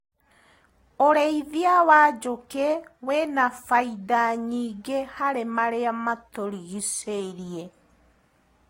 ũrĩithia wa njũkĩ wĩna bainda nyingĩ harĩ marĩa matũrigicĩirie.